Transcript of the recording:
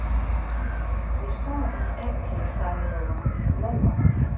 Ég sá hann ekki, sagði Lóa Lóa.